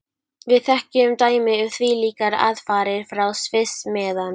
Við þekkjum dæmi um þvílíkar aðfarir frá Sviss, meðan